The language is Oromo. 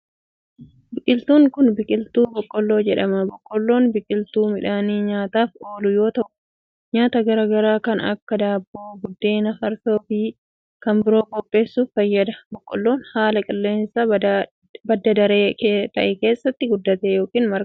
Biqiltuunkun, biqiltuu boqqoolloo jedhama. Boqqoolloon biqiltuu midhaanii nyaataf oolu yoo ta'u, nyaata garaa garaa kan akka :daabboo, buddeena, farsoo fi kan biroo qopheessuuf fayyada. Boqqoolloon haala qilleensaa badda daree ta'e keessatti guddata yokin marga.